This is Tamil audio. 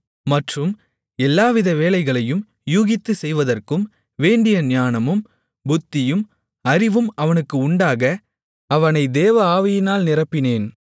மற்றும் எல்லாவித வேலைகளையும் யூகித்துச் செய்வதற்கும் வேண்டிய ஞானமும் புத்தியும் அறிவும் அவனுக்கு உண்டாக அவனை தேவஆவியினால் நிரப்பினேன்